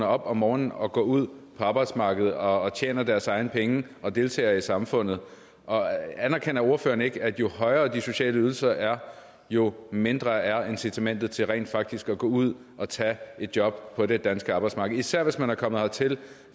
op om morgenen og går ud på arbejdsmarkedet og tjener deres egne penge og deltager i samfundet anerkender ordføreren ikke at jo højere de sociale ydelser er jo mindre er incitamentet til rent faktisk at gå ud og tage et job på det danske arbejdsmarked især hvis man er kommet hertil